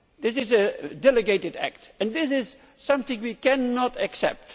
This is a delegated act and this is something we cannot accept.